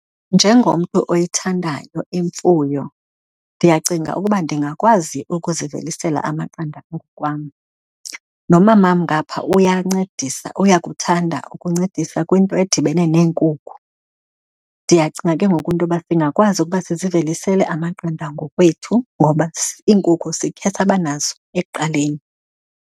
Njengomntu oyithandayo imfuyo ndiyacinga ukuba ndingakwazi ukuzivelisela amaqanda ngoku kwam. Nomamam ngapha uyancedisa, uyakuthanda ukuncedisa kwinto edibene neenkukhu. Ndiyacinga ke ngoku into yoba singakwazi ukuba sizivelisele amaqanda ngokwethu ngoba iinkukhu sikhe saba nazo ekuqaleni.